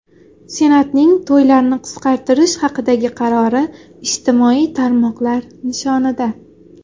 Senatning to‘ylarni qisqartirish haqidagi qarori ijtimoiy tarmoqlar nishonida.